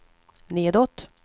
nedåt